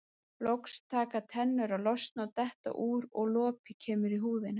Loks taka tennur að losna og detta úr og lopi kemur í húðina.